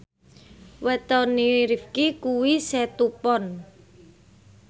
wetone Rifqi kuwi Setu Pon